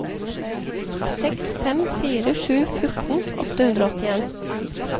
seks fem fire sju fjorten åtte hundre og åttien